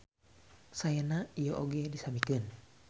Saena ieu oge disamikeun.